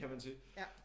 Kan man sige